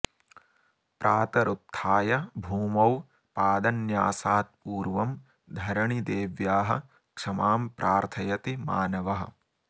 प्रातरुत्थाय भूमौ पादन्यासात् पूर्वं धरणिदेव्याः क्षमां प्रार्थयति मानवः